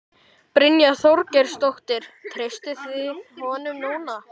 Brynja Þorgeirsdóttir: Treystið þið honum núna?